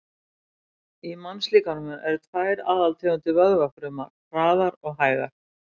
Í mannslíkamanum eru tvær aðaltegundir vöðvafruma, hraðar og hægar.